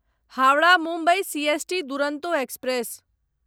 Howrah Mumbai CST Duronto express